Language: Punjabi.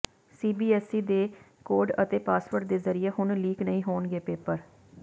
ਸੀਬੀਏਸਈ ਦੇ ਕੋਡ ਅਤੇ ਪਾਸਵਰਡ ਦੇ ਜ਼ਰੀਏ ਹੁਣ ਲੀਕ ਨਹੀਂ ਹੋਣਗੇ ਪੇਪਰ